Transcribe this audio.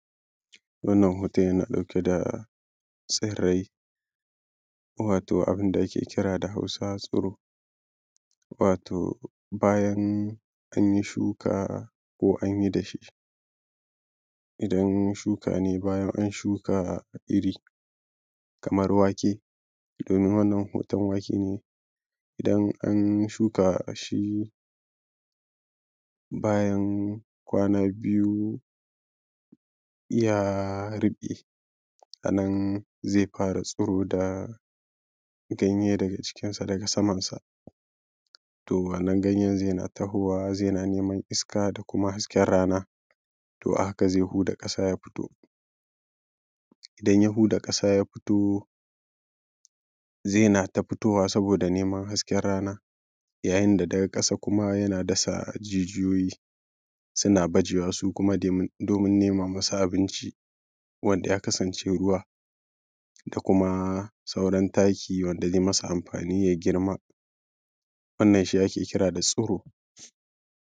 wannan hoton yana ɗauke da tsirrai wato abin da ake kira da hausa tsiro wato bayan an yi shuka ko an yi dashe idan shuka ne bayan an yi shuka iri kamar wake domin wannan hoton wake ne: idan an shuka shi bayan kwana biyu ya riƙe a nan zai fara tsiro da ganye daga jikinsa daga samansa to wannan ganyen zai na tahowa zai na neman iska da kuma hasken rana to a haka zai huda ƙasa ya fito idan ya huda ƙasa ya fito zai na ta fitowa saboda neman hasken rana yayin da daga ƙasa kuma yana dasa jijiyoyi suna bajewa su kuma domin nema musu abinci wanda ya kasance ruwa da kuma sauran taki wanda zai masa amfani ya girma wannan shi ake kira da tsiro